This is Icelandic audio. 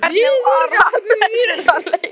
En hvernig var hann eftir þann leik?